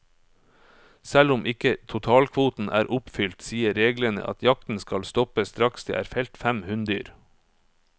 Selv om ikke totalkvoten er oppfylt, sier reglene at jakten skal stoppe straks det er felt fem hunndyr.